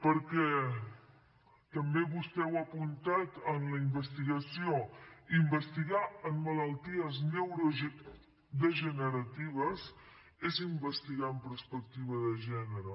perquè també vostè ho ha apuntat en la investigació investigar en malalties neurodegeneratives és investigar amb perspectiva de gènere